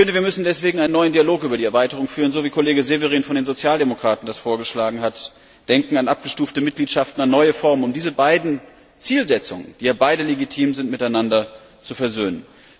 Wir müssen deswegen einen neuen Dialog über die Erweiterung führen, wie das Kollege Severin von den Sozialdemokraten vorgeschlagen hat, nämlich an abgestufte Mitgliedschaften, an neue Formen denken, um diese beiden Zielsetzungen, die ja beide legitim sind, miteinander zu versöhnen.